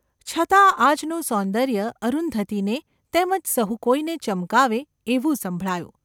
છતાં આજનું સૌંદર્ય અરુંધતીને તેમ જ સહુ કોઈને ચમકાવે એવું સંભળાયું.